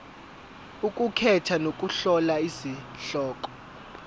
ukukhetha nokuhlola izihloko